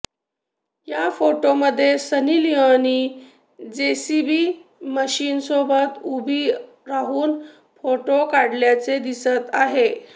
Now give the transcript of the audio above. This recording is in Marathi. या फोटोमध्ये सनी लिओनी जेसीबी मशीनसोबत उभी राहून फोटो काढल्याचे दिसत आहे